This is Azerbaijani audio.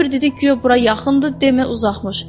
Şofer dedi guya bura yaxındır, demə uzaqmış.